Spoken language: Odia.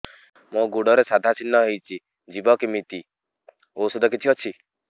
ମୋ ଗୁଡ଼ରେ ସାଧା ଚିହ୍ନ ହେଇଚି ଯିବ କେମିତି ଔଷଧ କିଛି ଅଛି